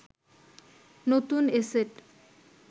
নতুন এ সেট